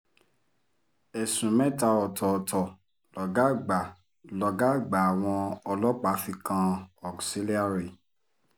ẹ̀sùn mẹ́ta ọ̀tọ̀ọ̀tọ̀ lọ̀gá àgbà lọ̀gá àgbà àwọn ọlọ́pàá fi kan auxilliary